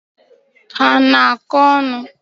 Ha ana akọ onu?